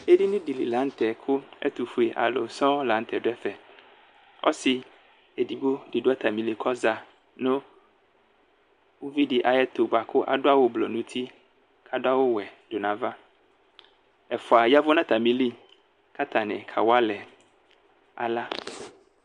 edini di li lanu tɛ ku ɛtufue alu sɔɔ lanu tɛ du ɛfɛɔsi edigbo di du atamili ku ɔza nu uvidi ayiʋ ɛtu ku adu awu blɔ nu uti, adu awu wɛ du nu avaɛfua yavʋ nʋ atamiliku atani kawalɛ ala